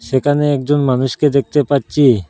সেখানে একজন মানুষকে দেখতে পাচ্ছি।